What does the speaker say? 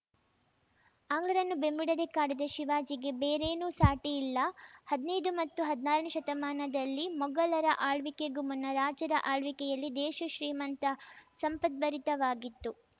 ಆಂಗ್ಲರನ್ನು ಬೆಂಬಿಡದೇ ಕಾಡಿದ ಶಿವಾಜಿಗೆ ಬೇರೇನೂ ಸಾಟಿ ಇಲ್ಲ ಹದ್ನೈದು ಮತ್ತು ಹದ್ನಾರನೇ ಶತಮಾನದಲ್ಲಿ ಮೊಘಲರ ಆಳ್ವಿಕೆಗೂ ಮುನ್ನ ರಾಜರ ಆಳ್ವಿಕೆಯಲ್ಲಿ ದೇಶ ಶ್ರೀಮಂತ ಸಂಪದ್ಭರಿತವಾಗಿತ್ತು